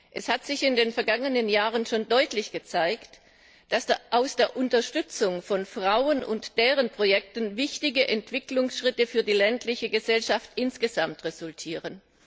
Es hat sich in den vergangenen Jahren schon deutlich gezeigt, dass aus der Unterstützung von Frauen und deren Projekten wichtige Entwicklungsschritte für die ländliche Gesellschaft insgesamt resultieren.